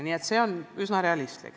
Nii et see on üsna realistlik.